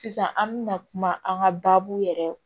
Sisan an mɛna kuma an ka baabu yɛrɛ